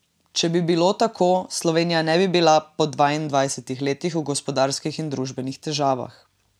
Če bi bilo tako, Slovenija ne bi bila po dvaindvajsetih letih v gospodarskih in družbenih težavah.